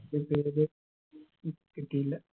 ഉം കിട്ടിയില്ല